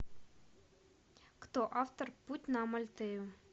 кто автор путь на амальтею